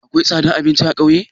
Akwai tsadan abinci a ƙauye?